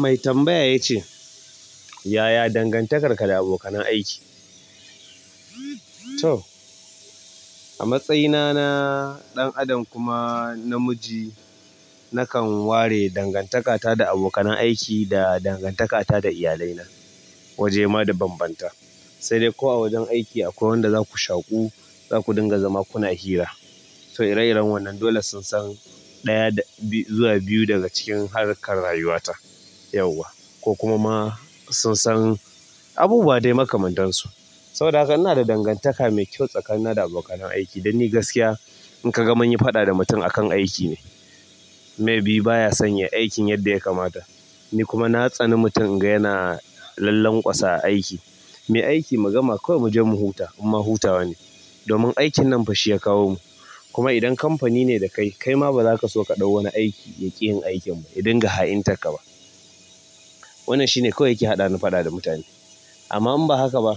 Mai tambaya ya ce, "Yaya dangantakarka da abokanan aiki?" toh, a matsayina na ɗan adam kuma namiji nakan ware dangantaka ta da abokanan aiki da kuma dangantaka ta da iyalai na waje mabanbanta sai dai ko a wajen aiki akwai wanda zaku shaƙu, zaku dinga zama kuna hira. To ire iren wannan dole sun san ɗaya zuwa biyu daga cikin harkar rayuwata yauwa ko kuma ma sun san abubuwan dai makamantansu. Saboda haka ina da dangantaka mai kyau tsakanina da abokanan aiki. Dan ni gaskiya in ka ga mun yi faɗa da mutum akan aiki ne. Maybe baya son yai aikin yadda ya kamata. Ni kuma na tsani mutum in ga yana lallan ƙwasa a aiki. Mu yi aiki, mu gama, kawai mu je mu huta. Amma hutawa ne. Domin aikin nan fashi ya kawo mu. Kuma idan kamfani ne da kai, kai ma baza ka so ka ɗau wani aiki ya ƙi yin aikin ba, ya dinga ha'intarka ba. Wannan shine kawai yake haɗani faɗa da mutane. Amma in ba haka ba,